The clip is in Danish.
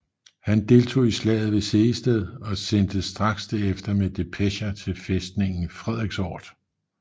Han deltog i slaget ved Sehested og sendtes straks derefter med depecher til fæstningen Frederiksort